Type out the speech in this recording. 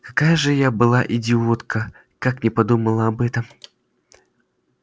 какая же я была идиотка как не подумала об этом